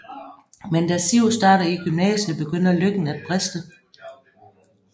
Men da Siv starter i gymnasiet begynder lykken at briste